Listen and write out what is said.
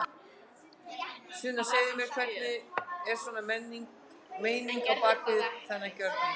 Sunna: Segðu mér hver er svona meiningin á bak við þennan gjörning?